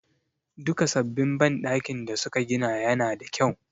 Duka sabbin banɗakin da su ka gina ya na da kyau